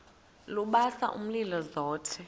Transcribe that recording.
lubasa umlilo zothe